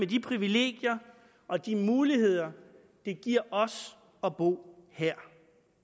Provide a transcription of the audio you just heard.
de privilegier og de muligheder det giver os at bo her